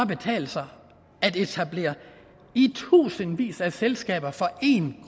betale sig at etablere i tusindvis af selskaber for en